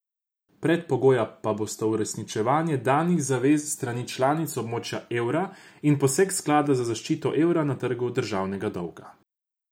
Predpogoja pa bosta uresničevanje danih zavez s strani članic območja evra in poseg sklada za zaščito evra na trgu državnega dolga.